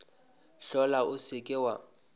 hlola o se ke wa